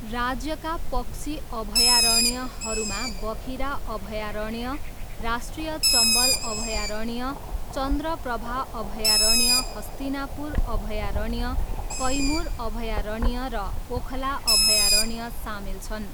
राज्यका पक्षी अभयारण्यहरूमा बखिरा अभयारण्य, राष्ट्रिय चम्बल अभयारण्य, चन्द्र प्रभा अभयारण्य, हस्तिनापुर अभयारण्य, कैमुर अभयारण्य र ओखला अभयारण्य सामेल छन्।